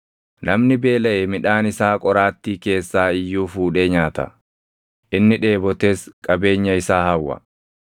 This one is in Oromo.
Namni beelaʼe midhaan isaa qoraattii keessaa iyyuu fuudhee nyaata; inni dheebotes qabeenya isaa hawwa.